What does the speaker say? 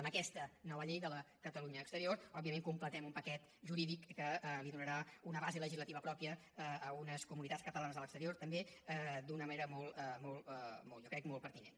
amb aquesta nova llei de la catalunya exterior òbviament completem un paquet jurídic que donarà una base legislativa pròpia a unes comunitats catalanes a l’exterior també d’una manera jo crec molt pertinent